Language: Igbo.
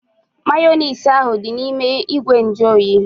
Mayonezi ahu dị n'ime ìgwè nju oyi